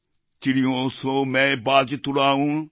চিড়িয়োঁ সোঁ ম্যায় বাজ তুড়ায়ুঁ